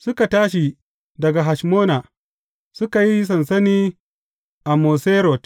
Suka tashi daga Hashmona, suka yi sansani a Moserot.